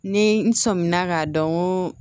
Ni n sɔmina k'a dɔn ko